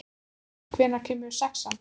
Þeyr, hvenær kemur sexan?